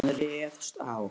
Hann réðst á